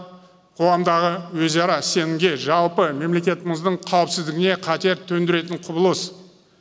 қоғамдағы өзара сенімге жалпы мемлекетіміздің қауіпсіздігіне қатер төндіретін құбылыс